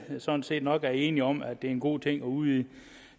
sådan set nok er enige om at det er en god ting at udvide